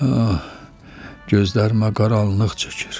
Ah, gözlərimə qaranlıq çəkir.